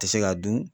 Tɛ se ka dun